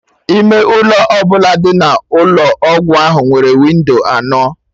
Ime ụlọ ọbụla dị n'Ụlọ ọgwụ ahụ nwere windo anọ